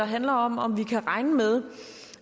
handler om om vi kan regne med